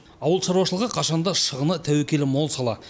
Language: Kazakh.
ауыл шаруашылығы қашан да шығыны тәуекелі мол сала